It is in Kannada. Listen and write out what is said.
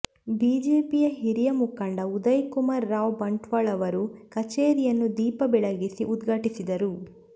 ಬಿಜೆಪಿಯ ಹಿರಿಯ ಮುಖಂಡ ಉದಯಕುಮಾರ್ ರಾವ್ ಬಂಟ್ವಾಳ ಅವರು ಕಚೇರಿಯನ್ನು ದೀಪ ಬೆಳಗಿಸಿ ಉದ್ಘಾಟಿಸಿದರು